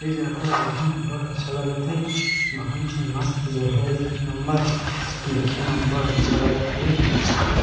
इ जगह ला देखे में बढ़ अच्छा लगत हे बहुत ही मस्त जगह हे एक नंबर देखे में बढ़ अच्छा लगत हे --